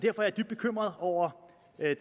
er jeg dybt bekymret over